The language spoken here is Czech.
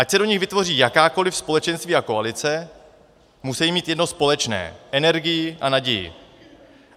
Ať se do nich vytvoří jakákoli společenství a koalice, musí mít jedno společné - energii a naději.